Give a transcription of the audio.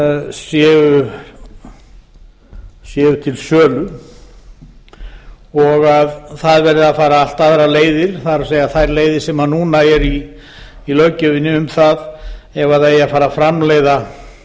séu til sölu og að það verði að fara allt aðrar leiðir það er leiðir sem núna eru í löggjöfinni um það ef það eigi að fara að framleiða